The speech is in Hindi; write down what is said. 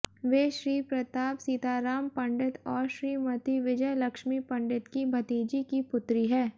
वे श्री प्रताप सीताराम पंडित और श्रीमती विजयलक्ष्मी पंडित की भतीजी की पुत्री है